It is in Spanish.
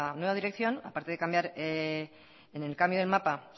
nueva dirección a parte de cambiar en el cambio del mapa